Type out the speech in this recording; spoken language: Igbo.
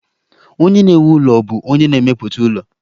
Onye na-ewu ụlọ bụ onye na-emepụta ụlọ